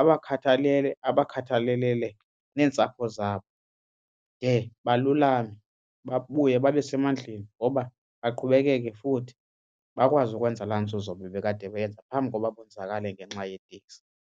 abakhathalele abakhathalalele neentsapho zabo de balulame babuye babe semandleni ngoba baqhubekeke futhi bakwazi ukwenza laa nzuzo bebekade beyenza phambi koba bonzakale ngenxa yeteksi.